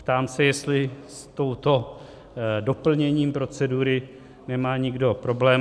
Ptám se, jestli s tímto doplněním procedury nemá nikdo problém.